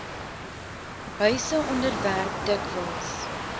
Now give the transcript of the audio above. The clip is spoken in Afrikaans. huise onderwerp dikwels